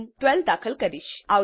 હું 12 દાખલ કરીશ